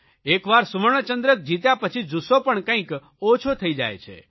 એકવાર સુવર્ણચંદ્રક જીત્યા પછી જુસ્સો પણ કંઇક ઓછો થઇ જાય છે